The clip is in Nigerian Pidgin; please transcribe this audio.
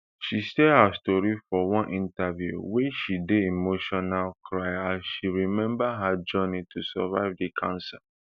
she share her tori for one interview wia she dey emotional cry as she remember her journey to survive di cancer